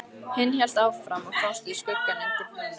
Hinn hélt áfram að fást við skuggann undir brúnni.